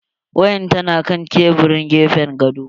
Wayar tana kan tebirin gefen gado.